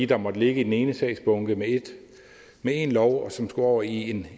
der måtte ligge i den ene sagsbunke med én lov gældende og som skulle over i en